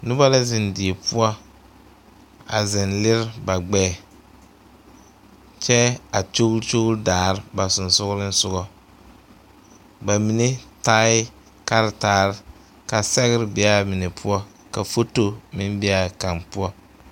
Noba la zeŋ die poɔ a zeŋ lere ba gbɛɛ kyɛ a kyogli kyogli daare ba sensoglesoga ba mine taaʋ kartaare ka sɛgre be a mine poɔ ka foto meŋ be a kaŋ poɔ.